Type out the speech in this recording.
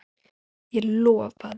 Ég lofaði.